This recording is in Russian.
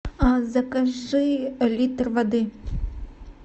закажи литр воды